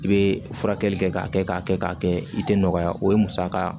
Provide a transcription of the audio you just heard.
I bɛ furakɛli kɛ k'a kɛ k'a kɛ k'a kɛ i tɛ nɔgɔya o ye musaka